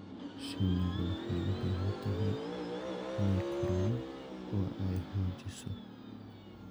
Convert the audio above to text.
Shinnidu waxay u baahan tahay inay koraan oo ay xoojiso.